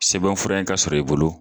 Sɛbɛn fura in ka sɔrɔ i bolo